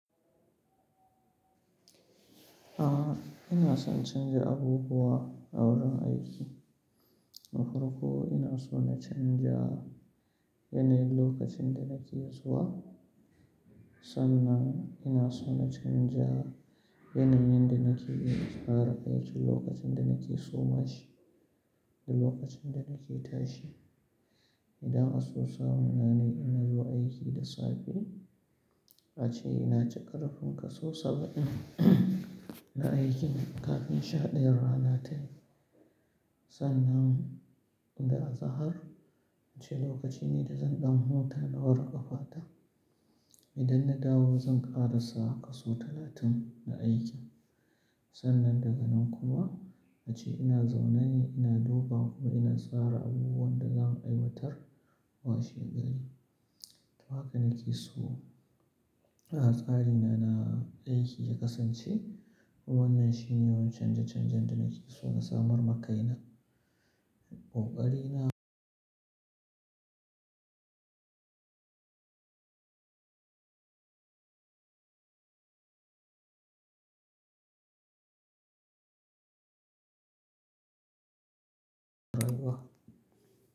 Ah, ina son canja abubuwa a wurin aiki. Na farko ina so na canja yanayin lokacin da nake zuwa. Sannan ina so na canja yanayin da nake yi tare da aikin lokacin da nake suma shi da lokacin da nake tashi. Idan an so samu nanai ina zuwa aiki da safe, ace ina cika rufinka sau saba'in na aikin kafin sha ɗayan rana tayi. Sannan idan a zahar, ace lokaci ne da zan ɗan huta da hori ƙafata. Idan na dawo zan ƙara sa kasu talatin na aikin. Sannan daga nan kuwa ace ina zaune ina duba kuma ina tsara abubuwan da zan aiwatar wa shegari. To haka nake so. A'a, tsari na, na aiki ya kasance kuma wannan shine yawan canje-canjen da nake so na samar maka ina. Ƙoƙari na.